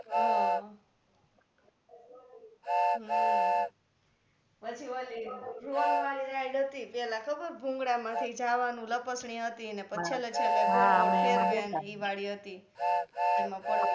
હમ હમ પછી વળી વાળી ride હતી પેહલા ખબર ભૂંગળા માથી જાવાનુ લપસણી હતી પછી છેલ્લે છેલ્લે ગોડ ગોડ ફેરવે ઈ વાળી હતી એમાં પડવા નું.